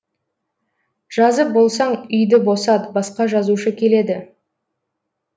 жазып болсаң үйді босат басқа жазушы келеді